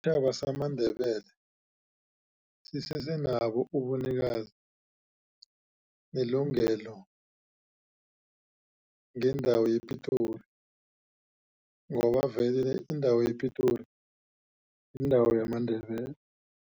Isitjhaba samaNdebele sisesenabo ubunikazi nelungelo ngendawo yePitori ngoba vele indawo yePitori yindawo yamaNdebele.